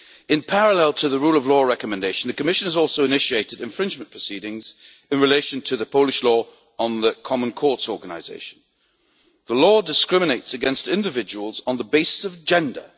In parallel to the Rule of Law Recommendation, the Commission has also initiated infringement proceedings in relation to the Polish Law on the Common Courts Organisation, which discriminates against individuals on the basis of gender.